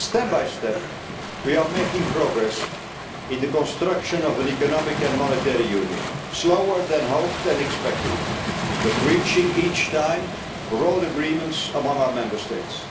report. Step by step we are making progress in the construction of an economic and monetary union, slower than hoped and expected, but reaching each time broad agreements among our Member